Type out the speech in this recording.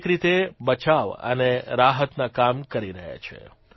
દરેક રીતે બચાવ અને રાહતના કામ કરી રહ્યા છે